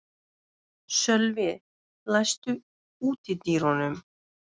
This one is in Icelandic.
Sölvi, læstu útidyrunum.